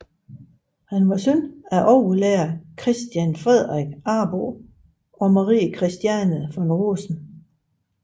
Han var søn af overlærer Christian Fredrik Arbo og Marie Christiane von Rosen